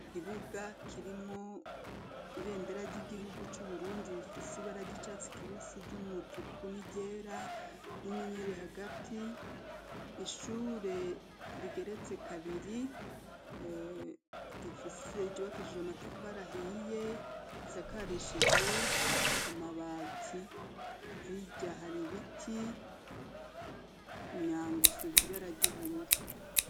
Igibuga kirimwo ibendera ry'igihugu c'uburundi rifise ibarag icatsi kibisi ry'umutuku ni ryera n'inyenyeri hagati, ishure rigeretse kabiri rifise giwakishijwe amatafarahiye risakarishijwe amabana ati hirya hari ibiti myanguse zibara ry'ubururu.